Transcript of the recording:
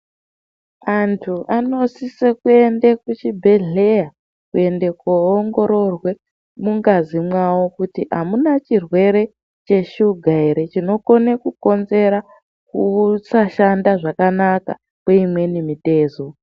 Antu anosise kuende kuchibhedhleya kuende koongororwe mungazi mwawo kuti amuna chirwere cheshuga ere chinokone kukonzere kusashanda zvakanaka kwemimwe mitezo.